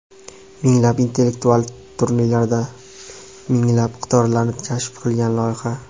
minglab intellektual turnirlarda minglab iqtidorlarni kashf qilgan loyiha.